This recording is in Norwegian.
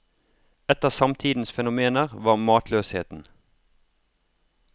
Et av samtidens fenomener var matløsheten.